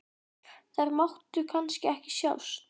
Þær máttu kannski ekki sjást?